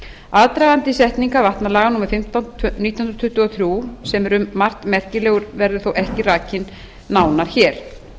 aðdragandi setningar vatnalaga númer fimmtán nítján hundruð tuttugu og þrjú sem er um margt merkilegur verður þó ekki rakinn nánar hér